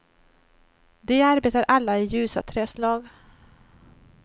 De arbetar alla i ljusa träslag.